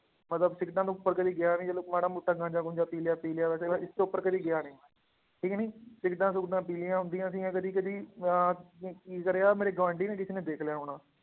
ਮਤਲਬ ਸਿਗਰਟਾਂ ਤੋਂ ਉੱਪਰ ਕਦੇ ਗਿਆ ਨੀ ਚਲੋ ਮਾੜਾ ਮੋਟਾ ਗਾਂਝਾ ਗੂੰਝਾ ਪੀ ਲਿਆ ਪੀ ਲਿਆ ਵੈਸੇ ਇਸ ਤੋਂ ਉੱਪਰ ਕਦੇ ਗਿਆ ਨੀ ਠੀਕ ਨੀ ਸਿਗਰਟਾਂ ਸੁਗਰਟਾਂ ਪੀ ਲਈਆਂ ਹੁੰਦੀਆਂ ਸੀਗੀਆਂ ਕਦੇ ਕਦੇ ਮੈਂ ਅਮ ਕੀ ਕਰਿਆ ਮੇਰੇ ਗੁਆਂਢੀ ਨੇ ਕਿਸੇ ਨੇ ਦੇਖ ਲਿਆ ਹੋਣਾ